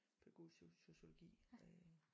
Pædagogisk sociologi øh